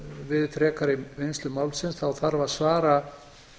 við frekari vinnslu málsins þá þarf að svara